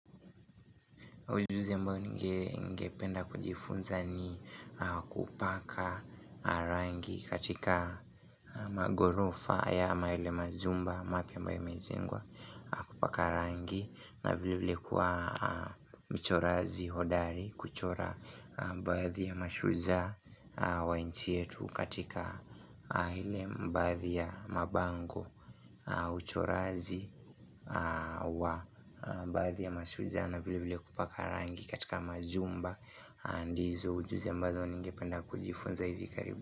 Ujuzi ambao ningependa kujifunza ni kupaka rangi katika maghorofa ama yale majumba mapya ambayo imejengwa kupaka rangi na vile vile kuwa mchorazi hodari kuchora baadhi ya mashujaa wa nchi yetu katika ile baadhi ya mabango uchoraji wa baadhi ya mashujaa na vile vile kupaka rangi katika majumba ndizo ujuzi ambazo ningependa kujifunza hivi karibu.